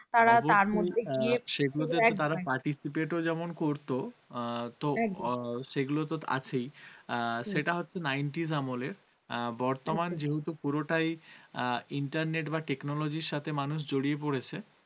যেহেতু পুরোটাই internet বা technology র সাথে মানুষ জড়িয়ে পড়েছে